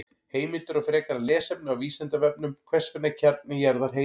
Heimildir og frekara lesefni á Vísindavefnum: Hvers vegna er kjarni jarðar heitur?